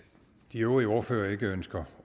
de øvrige ordførere ikke ønsker